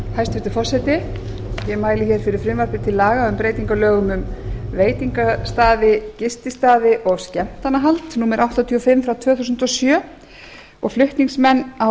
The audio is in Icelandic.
hæstvirtur forseti ég mæli hér fyrir frumvarpi til laga um breytingu á lögum um veitingastaði gististaði og skemmtanahald númer áttatíu og fimm tvö þúsund og sjö flutningsmenn á